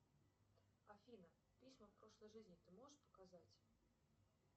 афина письма прошлой жизни ты можешь показать